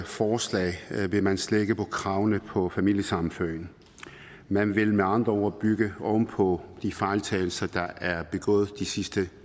forslag vil man slække på kravene på familiesammenføringen man vil med andre ord bygge oven på de fejltagelser der er begået de sidste